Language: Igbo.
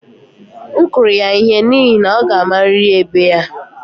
M kụrụ ya ihe n'ihi na ọ ga-amarịrị ebe ya